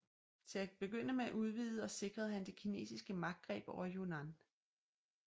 Til at begynde med udvidede og sikrede han det kinesiske magtgreb over Yunan